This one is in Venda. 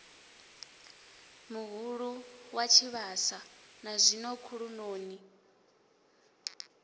muhulu wa tshivhasa nazwino khulunoni